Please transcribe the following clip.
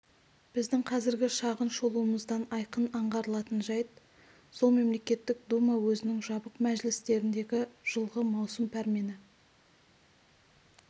біздің қазіргі шағын шолуымыздан айқын аңғарылатын жәйт сол мемлекеттік дума өзінің жабық мәжілістеріндегі жылғы маусым пәрмені